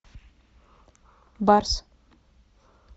барс